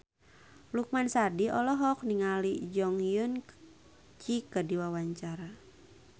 Lukman Sardi olohok ningali Jong Eun Ji keur diwawancara